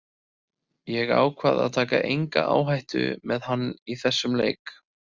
Ég ákvað að taka enga áhættu með hann í þessum leik.